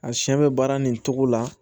A siɲɛ bɛ baara nin cogo la